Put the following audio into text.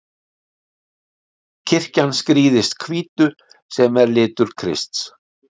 Kirkjan skrýðist hvítu, sem er litur Krists.